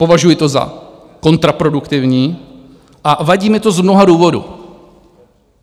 Považuji to za kontraproduktivní a vadí mi to z mnoha důvodů.